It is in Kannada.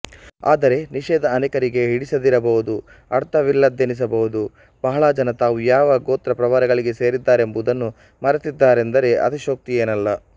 ಆದರೆ ನಿಷೇಧ ಅನೇಕರಿಗೆ ಹಿಡಿಸದಿರಬಹುದು ಅರ್ಥವಿಲ್ಲದ್ದೆನಿಸಬಹುದು ಬಹಳ ಜನ ತಾವು ಯಾವ ಗೋತ್ರ ಪ್ರವರಗಳಿಗೆ ಸೇರಿದ್ದಾರೆಂಬುದನ್ನೂ ಮರೆತಿದ್ದಾರೆಂದರೆ ಅತಿಶಯೋಕ್ತಿಯೇನಲ್ಲ